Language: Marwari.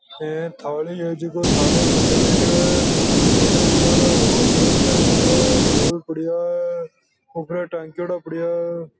एक थाली है जीके थाली बजाय रिया है घने सारा बाघयंत्र पढ़या है दोल पढ़या है ऊपर टांकडयो पड़या है।